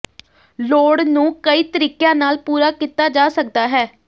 ਲੋੜ ਨੂੰ ਕਈ ਤਰੀਕਿਆਂ ਨਾਲ ਪੂਰਾ ਕੀਤਾ ਜਾ ਸਕਦਾ ਹੈ